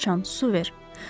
Göy siçan, su ver!